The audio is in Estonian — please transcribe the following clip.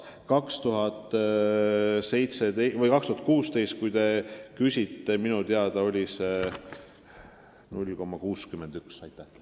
Aastal 2016, mille kohta te küsisite, oli see näitaja minu teada 0,61%.